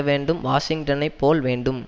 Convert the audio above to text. வேண்டும் வாஷிங்டனைப் போல் வேண்டும்